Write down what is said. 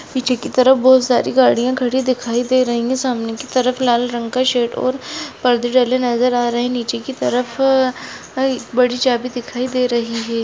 पीछे की तरफ बहुत सारी गाड़िया खड़ी दिखाई दे रही है सामने की तरफ लाल रंग का शेड और पर्दे डले नज़र आ रहे है नीचे की तरफ एक बड़ी चाबी दिखाई दे रही है।